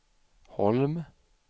Holm